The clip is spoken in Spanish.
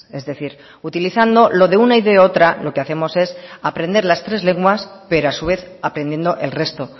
es decir utilizando lo de una y de otra lo que hacemos es aprender las tres lenguas pero a su vez aprendiendo el resto